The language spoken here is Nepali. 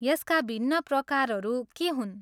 यसका भिन्न प्रकारहरू के हुन्?